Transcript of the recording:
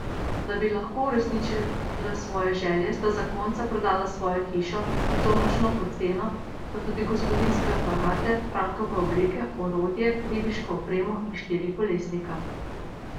Da bi lahko uresničila svoje želje, sta zakonca prodala svojo hišo, in to močno pod ceno, pa tudi gospodinjske aparate, Frankove obleke, orodje, ribiško opremo in štirikolesnika.